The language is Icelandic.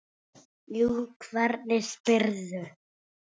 Jú, hvernig spyrðu.